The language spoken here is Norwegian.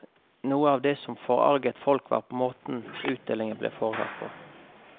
Noe av det som forarget folk var måten utdelingen ble foretatt på.